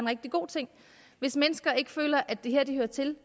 rigtig god ting hvis mennesker ikke føler at det er her de hører til